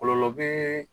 Kɔlɔlɔ bee